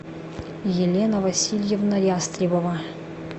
елена васильевна ястребова